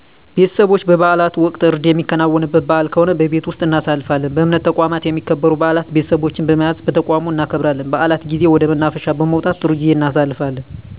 ቤተሰቦቸ በበዓላት ወቅት እርድ የሚከናወንበት በዓል ከሆነ በቤት ወስጥ እናሳልፋለን በእምነት ተቋማት የሚከበሩ በዓላት ቤተሰቦቸን በመያዝ በተቋሙ እናከብራለን በዓላት ጊዜ ወደ መናፈሻ በመውጣት ጥሩ ጊዜ እናሣልፋለን